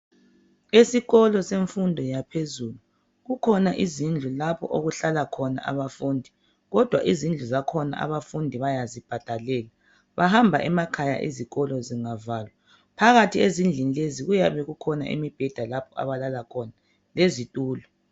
Esikolo semfundo yaphezulu kukhona izindlu lapho okuhlala khona abafundi kodwa izindlu zakhona abafundi bayazibhadalela bahamba emakhaya izikolo zingavalwa phakathi ezindlini lezi kuyabe kukhona imibheda lapho abalala khona lezitulo.